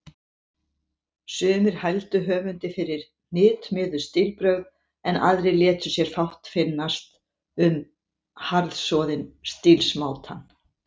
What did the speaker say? Sumir hældu höfundi fyrir hnitmiðuð stílbrögð, en aðrir létu sér fátt finnast um harðsoðinn stílsmátann.